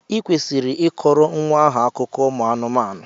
Ị kwesịrị ị kọrọ nwa ahụ akụkọ ụmụ anụmanụ!